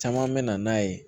Caman bɛ na n'a ye